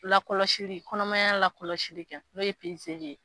Lakɔlɔsili kɔnɔmaya lakɔlɔlɔsili kɛ n'o ye ye